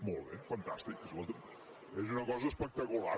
molt bé fantàstic escolti’m és una cosa espectacular